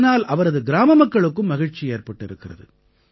இதனால் அவரது கிராம மக்களுக்கும் மகிழ்ச்சி ஏற்பட்டிருக்கிறது